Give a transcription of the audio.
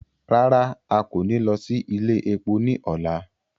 Rara, a ko ni lọ si ile epo ni ọla